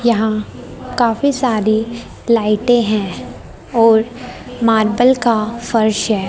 यहां काफी सारी लाइटें हैं और मार्बल का फर्श है।